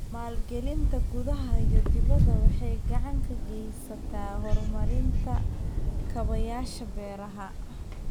Maalgelinta gudaha iyo dibedda waxay gacan ka geysataa horumarinta kaabayaasha beeraha.